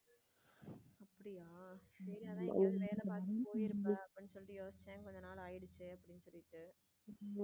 அப்படியா சரி ஏதாவது எங்கையாவது வேலை பார்த்துட்டு போயிருப்ப அப்படின்னு சொல்லி யோசிச்சேன் கொஞ்ச நாளுக்கு ஆயிடுச்சு அப்படின்னு சொல்லிட்டு.